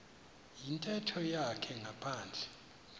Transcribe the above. yintetho yakhe ngaphandle